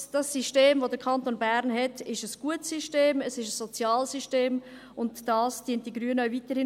Das System, welches der Kanton Bern hat, ist ein gutes System, es ist ein soziales System, und dies unterstützen die Grünen weiterhin.